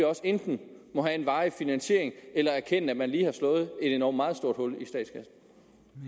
også enten må have en varig finansiering eller erkende at man lige har slået et endog meget stort hul